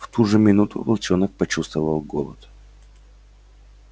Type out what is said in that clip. в ту же минуту волчонок почувствовал голод